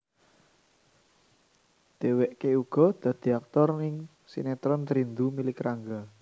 Dheweke uga dadi aktor ing sinetron Rindu Milik Rangga